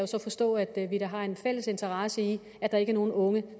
så forstå at vi da har en fælles interesse i at der ikke er nogen unge